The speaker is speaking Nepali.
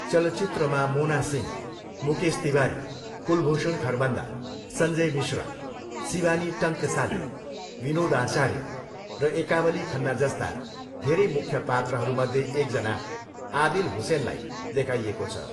चलचित्रमा मोना सिंह, मुकेश तिवारी, कुलभूषण खरबन्दा, सञ्जय मिश्रा, शिवानी टङ्कसाले, विनोद आचार्य र एकावली खन्ना जस्ता धेरै मुख्य पात्रहरूमध्ये एकजना आदिल हुसेनलाई देखाइएको छ।